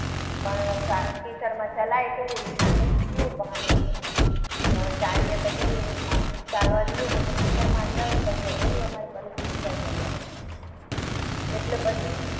પણ કીચડમાં ચલાય કેવી રીતના એટલું પાણી હતું. કે હવે ચાલીએ તો કેવી રીતના ચાલવા જઈએ ને તો ખીચડમાં અંદર પડી જવાય. એવી રીતે અમારી પરિસ્થિતિ થઈ ગયેલી હતી. એટલે પછી